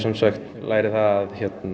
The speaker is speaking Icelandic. læri það að